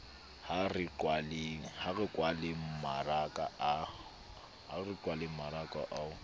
ha re kwaleng mmaraka wa